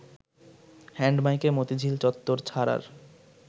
hand মাইকে মতিঝিল চত্বর ছাড়ার